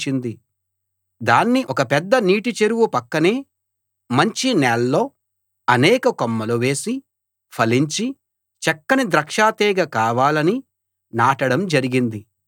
దాన్ని ఒక పెద్ద నీటి చెరువు పక్కనే మంచి నేల్లో అనేక కొమ్మలు వేసి ఫలించి చక్కని ద్రాక్ష తీగె కావాలని నాటడం జరిగింది